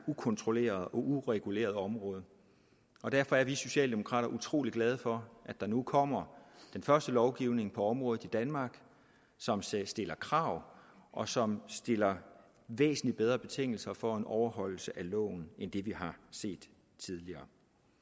ukontrolleret og ureguleret område og derfor er vi socialdemokrater utrolig glade for at der nu kommer den første lovgivning på området i danmark som stiller stiller krav og som stiller væsentlig bedre betingelser for en overholdelse af loven end det vi har set tidligere